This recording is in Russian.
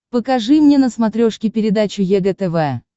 покажи мне на смотрешке передачу егэ тв